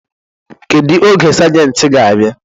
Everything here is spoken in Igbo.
Kedu oge sajenti ga-abịa?